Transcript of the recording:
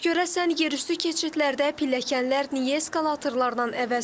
Bəs görəsən yerüstü keçidlərdə pilləkənlər niyə eskalatorlardan əvəzlənmir?